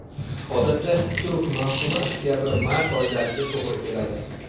Odatda, turp mavsumi oktabr-mart oylariga to‘g‘ri keladi.